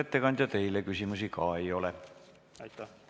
Määran muudatusettepanekute esitamise tähtajaks k.a 20. aprilli kell 10.